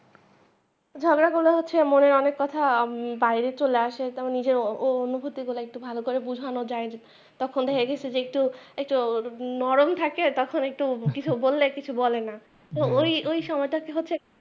ঝগড়া করা হচ্ছে মনের অনেক কথা বাইরে চলে আসে তাও নিজের অনুভূতি গুলো একটু ভালো করে বোঝানো যাই তখন দেখা গিয়াছে যে একটু একটু নরম থাকে তখন একটু কিছু বল্লে কিছু বলেনা ওই ওই সময়টাকে হচ্ছে।